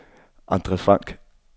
Andre Frank